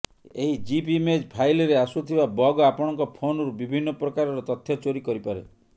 ଏହି GIF image ଫାଇଲ୍ରେ ଆସୁଥିବା ବଗ୍ ଆପଣଙ୍କ ଫୋନ୍ରୁ ବିଭିନ୍ନ ପ୍ରକାରର ତଥ୍ୟ ଚୋରି କରିପାରେ